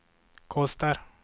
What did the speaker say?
kostar